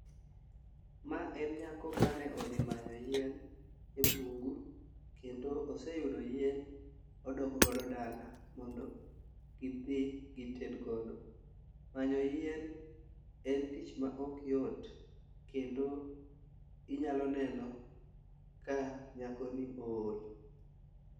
Ma en nyako mane odhi manyo yien e bungu kendo oseyudo yien odok godo dala mondo gidhi gited godo. Manyo een en tich ma ok yot kendo inyalo neno ka nyako ni ool.